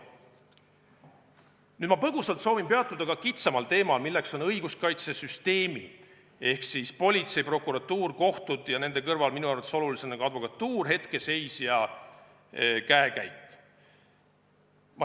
Nüüd ma soovin põgusalt peatuda ka kitsamal teemal, mis on õiguskaitsesüsteemi – politsei, prokuratuur, kohtud ja nende kõrval minu arvates olulisena ka advokatuur – hetkeseis ja käekäik.